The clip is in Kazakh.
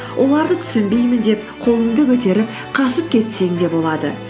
оларды түсінбеймін деп қолыңды көтеріп қашып кетсең де болады